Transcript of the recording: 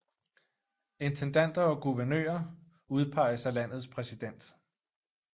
Intendanter og guvernører udpeges af landets præsident